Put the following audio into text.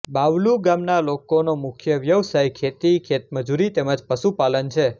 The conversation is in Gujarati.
બાવલુ ગામના લોકોનો મુખ્ય વ્યવસાય ખેતી ખેતમજૂરી તેમ જ પશુપાલન છે